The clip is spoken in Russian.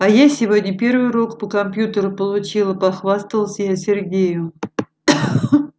а я сегодня первый урок по компьютеру получила похвасталась я сергею